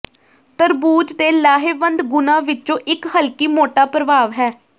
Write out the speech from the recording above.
ਤਰਬੂਜ ਦੇ ਲਾਹੇਵੰਦ ਗੁਣਾਂ ਵਿੱਚੋਂ ਇੱਕ ਹਲਕੀ ਮੋਟਾ ਪ੍ਰਭਾਵ ਹੈ